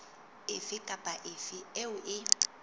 efe kapa efe eo e